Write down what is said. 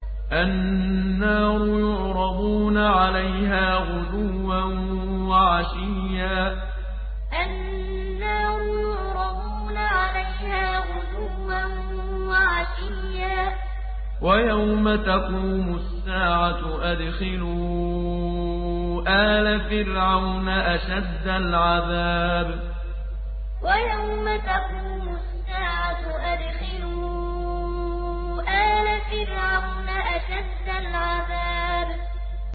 النَّارُ يُعْرَضُونَ عَلَيْهَا غُدُوًّا وَعَشِيًّا ۖ وَيَوْمَ تَقُومُ السَّاعَةُ أَدْخِلُوا آلَ فِرْعَوْنَ أَشَدَّ الْعَذَابِ النَّارُ يُعْرَضُونَ عَلَيْهَا غُدُوًّا وَعَشِيًّا ۖ وَيَوْمَ تَقُومُ السَّاعَةُ أَدْخِلُوا آلَ فِرْعَوْنَ أَشَدَّ الْعَذَابِ